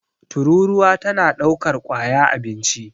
tururuwa tana daukar kwaya abinci